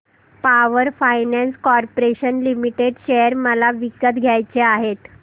power finance corporation limited share मला विकत घ्यायचे आहेत